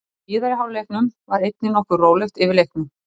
Í síðari hálfleiknum var einnig nokkuð rólegt yfir leiknum.